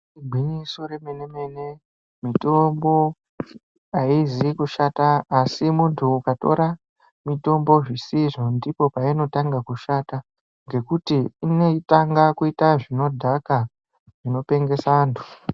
Igwinyiso remenemene mitombo aizi kushata asi muntu ukatora mitombo zvisizvo ndipo painotanga kushanta ngekuti inotanga kuita zvinodhaka zvinopengesa antu.